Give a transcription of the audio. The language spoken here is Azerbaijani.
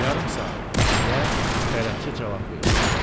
Yarım saat, deyə bələdçi cavab verdi.